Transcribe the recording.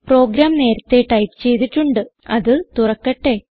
programme നേരത്തേ type ചെയ്തിട്ടുണ്ട് അത് തുറക്കട്ടെ